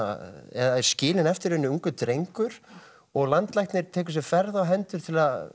eða er skilinn eftir ungur drengur og landlæknir tekur sér ferð á hendur til að